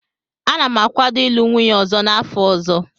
Ana m akwado ịlụ nwunye ọzọ n'afọ ọzọ.